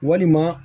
Walima